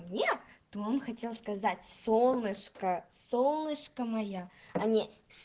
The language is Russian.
не он хотел сказать солнышко солнышко моя а не